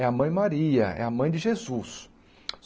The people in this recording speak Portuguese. É a mãe Maria, é a mãe de Jesus.